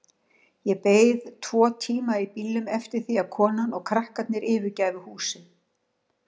Ég beið tvo tíma í bílnum eftir því að konan og krakkarnir yfirgæfu húsið.